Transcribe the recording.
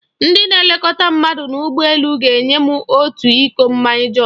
Ndị na-elekọta mmadụ n'ụgbọ elu ga-enye m otu iko mmanya juus.